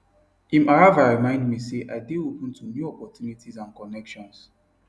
him arrival remind me say make i dey open to new opportunities and connections